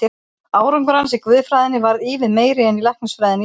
Árangur hans í guðfræðinni varð ívið meiri en í læknisfræðinni í Edinborg.